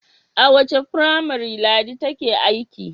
A wace firamare Ladi take aiki?